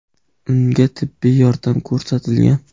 Unga tibbiy yordam ko‘rsatilgan.